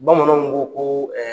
Bamananw ko koo